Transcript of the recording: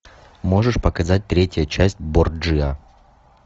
можешь показать третья часть борджиа